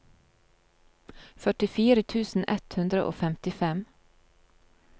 førtifire tusen ett hundre og femtifem